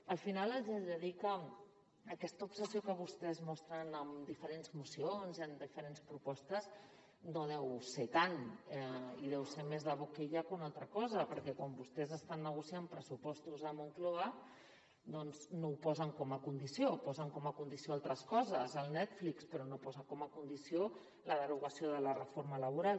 al final els he de dir que aquesta obsessió que vostès mostren en diferents mocions i en diferents propostes no deu ser tant i deu ser més de boquillacosa perquè quan vostès estan negociant pressupostos a moncloa doncs no ho posen com a condició posen com a condició altres coses el netflix però no posen com a condició la derogació de la reforma laboral